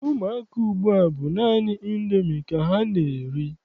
Ụmụaka ugbua bụ naanị Indomi ka ha na-eri.